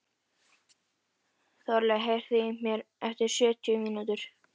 Þorlaug, heyrðu í mér eftir sjötíu mínútur.